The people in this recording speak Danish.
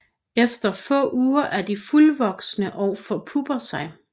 Efter få uger er de fuldvoksne og forpupper sig